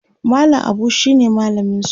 mallam Abu shine mallaminsu